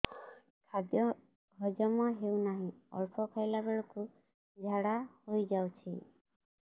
ଖାଦ୍ୟ ହଜମ ହେଉ ନାହିଁ ଅଳ୍ପ ଖାଇଲା ବେଳକୁ ଝାଡ଼ା ହୋଇଯାଉଛି